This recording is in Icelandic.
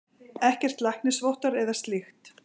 Ekkert læknisvottorð eða slíkt.